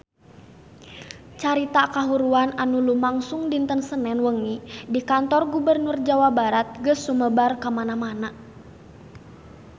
Carita kahuruan anu lumangsung dinten Senen wengi di Kantor Gubernur Jawa Barat geus sumebar kamana-mana